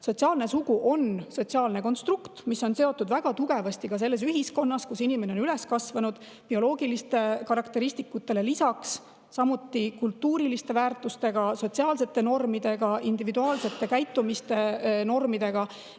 Sotsiaalne sugu on sotsiaalne konstrukt, mis on lisaks bioloogilistele karakteristikutele seotud väga tugevasti selles ühiskonnas, kus inimene on üles kasvanud, kultuuriliste väärtustega, sotsiaalsete normidega ja individuaalsete käitumisnormidega.